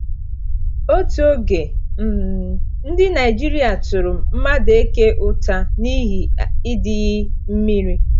Otu oge, um Ndị Naịjirịa tụrụ Madueke ụta n’ihi ịdịghị mmiri.